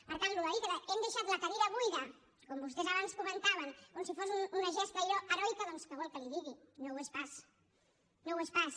per tant això de dir que hem deixat la cadira buida com vostès abans comentaven com si fos una gesta allò heroica doncs què vol que li digui no ho és pas no ho és pas